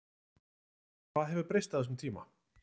Hvað hefur breyst á þessum tíma?